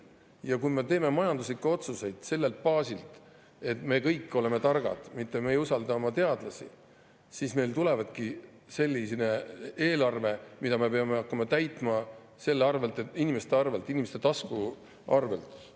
Ja kui me teeme majanduslikke otsuseid sellelt baasilt, et me kõik oleme targad, mitte ei usalda oma teadlasi, siis tulebki selline eelarve, mida me peame hakkama täitma inimeste arvelt, inimeste tasku arvelt.